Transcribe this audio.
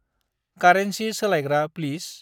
कारेनसि सोलायग्रा प्लिस।